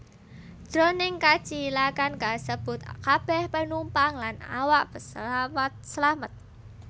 Jroning kacilakan kasebut kabèh penumpang lan awak pesawat slamet